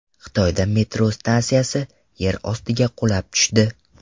Xitoyda metro stansiyasi yer ostiga qulab tushdi.